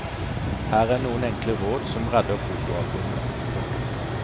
Her er noen enkle råd som redder fotoalbumet. punktum